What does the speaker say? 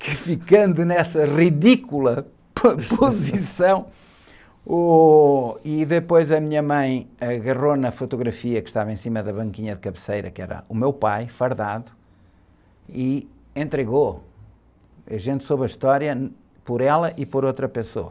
ficando nessa ridícula, posição, ôh, e depois a minha mãe agarrou na fotografia que estava em cima da banquinha de cabeceira, que era o meu pai, fardado, e entregou, a gente soube a história por ela e por outra pessoa.